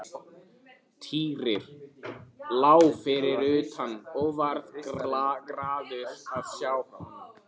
Týri lá fyrir utan og varð glaður að sjá hana.